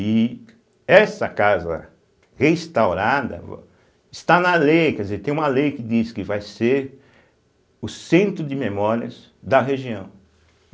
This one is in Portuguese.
E essa casa restaurada va está na lei, quer dizer, tem uma lei que diz que vai ser o centro de memórias da região.